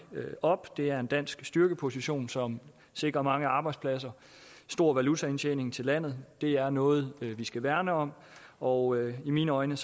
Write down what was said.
op det er en dansk styrkeposition som sikrer mange arbejdspladser stor valutaindtjening til landet det er noget vi skal værne om og i mine øjne